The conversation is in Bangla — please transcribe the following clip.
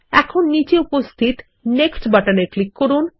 এখন নীচে উপস্থিত নেক্সট বাটন এ ক্লিক করুন